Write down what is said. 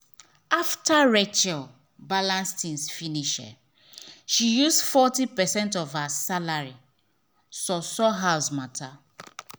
after rachel balance things finish she use forty percent of her salary sort sort house matter.